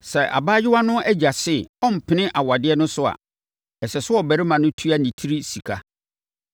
Sɛ abaayewa no agya se ɔmpene awadeɛ no so a, ɛsɛ sɛ ɔbarima no tua ne tiri sika.